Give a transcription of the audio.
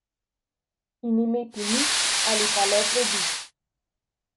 In imeti nič ali pa le drobiž.